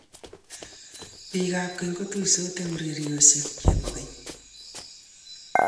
Biikab kenya kotuisot eng urerioshe che bo keny.